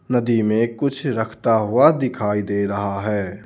नदी में कुछ रखता हुआ दिखाई दे रहा है.